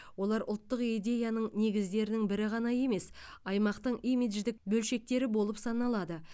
олар ұлттық идеяның негіздерінің бірі ғана емес аймақтың имидждік бөлшектері болып саналады